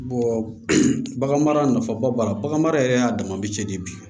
bagan mara nafaba b'a la baganmara yɛrɛ y'a dama bɛ cɛ de bi